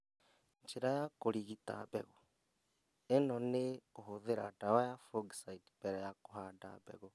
Njĩra ya kũrigita mbegũ. ĩno nĩ kũhũthĩra ndawa ya fungicide mbere ya kũhanda mbegũ